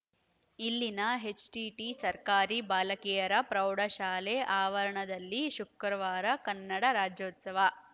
ಇಲ್ಲಿನ ಎಚ್‌ಟಿಟಿ ಸರ್ಕಾರಿ ಬಾಲಕಿಯರ ಪ್ರೌಢಶಾಲೆ ಆವರಣದಲ್ಲಿ ಶುಕ್ರವಾರ ಕನ್ನಡ ರಾಜ್ಯೋತ್ಸವ